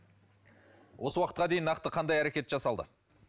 осы уақытқа дейін нақты қандай әрекет жасалды